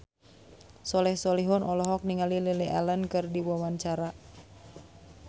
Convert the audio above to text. Soleh Solihun olohok ningali Lily Allen keur diwawancara